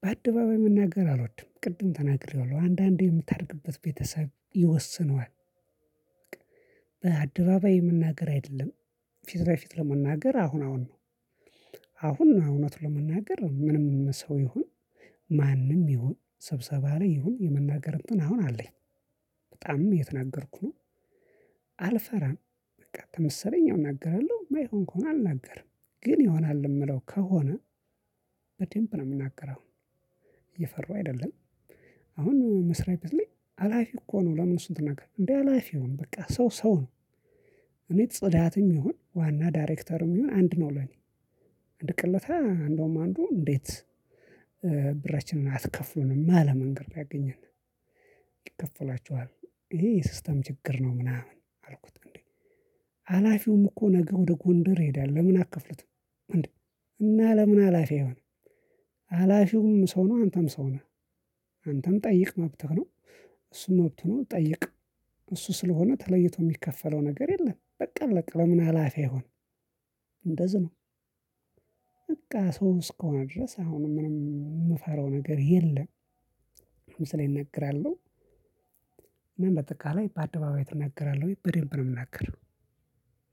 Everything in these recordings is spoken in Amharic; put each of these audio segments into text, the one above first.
በአደባባይ መናገር አልወድም። ቅድም ተናግረዋለሁ አንዳንዴ የምታድግበት ቤተሰብ ይወስነዋል። አደባባይ መናገር አይደለም ፊት ለፊት የምናገረው አሁን አሁን ነው። አሁን እውነት ለመናገር ምንም ሰው ይሁን ማንም ይሁን ስብሰባ ላይ ይሁን የመናገር እንትን አሁን አለኝ። በጣምም እየተናገርኩ ነው። አልፈራም። በቃ ከመሰለኝ እናገራለሁ። የማይሆን ከሆነ አልናገርም። ግን ይሆናል የምለው ከሆነ በደንብ ነው የምናገረው። እየፈራሁ አይደለም። አሁን መስሪያ ቤት ላይ ሀላፊ እኮ ነው ለምን እሱን ትናገራለህ? እንዴ ሀላፊ ይሁን በቃ ሰው ሰው ነው። እኔ ጽዳትም ይሁን ዋና ዳይሬክተርም ይሁን አንድ ነው ለኔ። አንድ እለታ እንደውም አንዱ እንዴት ብራችንን አትከፍሉንም አለ መንገድ ነው ያገኘን። ይከፈላችኋል። ይሄ የሲስተም ችግር ነው ምናምን አልኩት እንዴ ሀላፊውም እኮ ነገ ወደ ጎንደር ይሄዳል ለምን አትከፍሉትም? እንዴ እና ለምን ሀላፊ አይሆንም ሀላፊውም ሰው ነው አንተም ሰው ነህ። አንተም ጠይቅ መብትህ ነው። እሱም መብቱ ነው ይጠይቅ እሱ ስለሆነ ተለይቶ የሚከፈለው ነገር የለም። በቃ አለቀ ለምን ሀላፊ አይሆንም። እንደዚ ነው በቃ ሰው እስከሆነ ድረስ አሁንም ምንም የምፈራው ነገር የለም። ምሳሌ እናገራለሁ እና በጠቃላይ በአደባባይ እናገራለሁ ወይ? በደንብ ነው የምናገረው።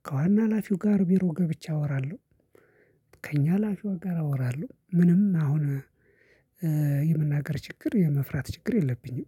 ከዋና ሀላፊው ጋር ቢሮ ገብቼ አወራለሁ። ከእኛ ሀላፊው ጋር አወራለሁ። ምንም አሁን የመናገር ችግር የመፍራት ችግር የለብኝም።